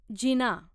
जिना